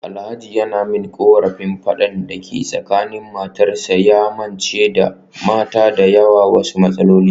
Alhaji yana min korafin fadan da ke tsakanin matarsa, ya mance da mata da yawa wasu matsaloli.